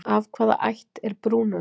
Af hvaða ætt er brúnönd?